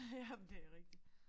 Ja men det rigtigt